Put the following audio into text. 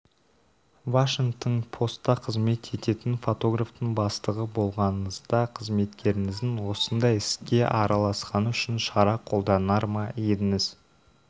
вашингтон посттақызмет ететін фотографтың бастығы болғаныңызда қызметкеріңіздің осындай іске ара-ласқаны үшін шара қолданар ма едіңіз